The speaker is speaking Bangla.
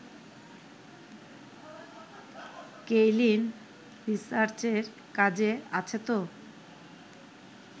কেইলিন রিসার্চের কাজে আছে তো